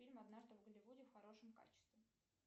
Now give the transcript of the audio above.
фильм однажды в голливуде в хорошем качестве